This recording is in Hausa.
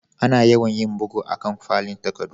Ana yawan yin bugu a'kan fallen takaddu.